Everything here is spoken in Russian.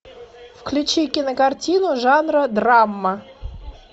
включи кинокартину жанра драма